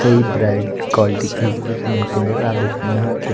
कई bright quality के हिसाब से मिलते हैं जैसा आप देख रहे हैं यहां के--